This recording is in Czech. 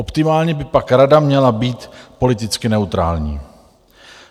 Optimálně by pak Rada měla být politicky neutrální.